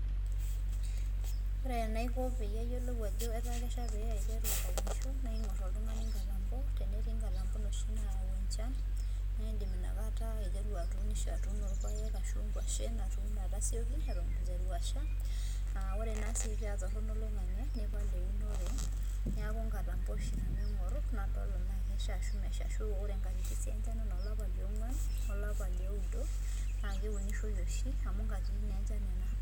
Ore enaiko peyie ayiolou ajo etaa kesha pe aiteru aunisho, naa ing'or oltung'ani inkatambo, tenetii nkatampo noshi nau enchan, na idim inakata aiteru atuunisho, atuuno irpaek ashu nkwashen atuuno atasioki eton itu iteru asha, ah ore na si patorrono oloing'ang'e nipal eunore, neeku nkatambo oshi nanu aing'or nadol enaa kesha ashu mesha. Ashu ore inkatitin si enchan enaa olapa liong'uan, olapa lioudo, na keunishoi oshi amu nkatitin nenchan nena.